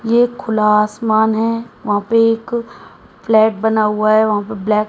ये खुला आसमान है वहां पे एक फ्लैट बना हुआ है वहां पे ब्लैक --